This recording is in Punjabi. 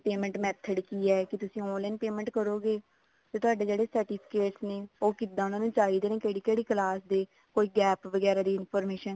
payment method ਕੀ ਹੈ ਕੀ ਤੁਸੀਂ online payment ਕਰੋਗੇ ਤੇ ਤੁਹਾਡੇ ਜਿਹੜੇ certificate ਨੇ ਉਹ ਕਿੱਦਾਂ ਉਹਨੂੰ ਚਾਹੀਦੇ ਨੇ ਕਿਹੜੀ ਕਿਹੜੀ class ਦੇ ਕੋਈ gap ਵਗੈਰਾ ਦੀ information